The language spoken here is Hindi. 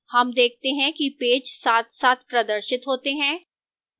हम देखते हैं कि पेज साथसाथ प्रदर्शित होते हैं